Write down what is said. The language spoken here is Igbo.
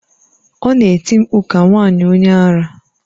Ọ na-eti mkpu ka nwanyị onye ara.